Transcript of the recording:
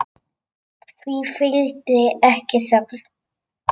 Því fylgdi ekki þögn.